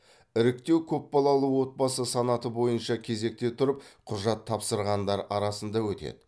іріктеу көпбалалы отбасы санаты бойынша кезекте тұрып құжат тапсырғандар арасында өтеді